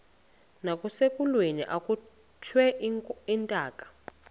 nasekulweni akhutshwe intaka